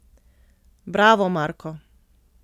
Bravo, Marko!